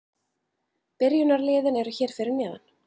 Byrjunarliðin eru hér fyrir neðan.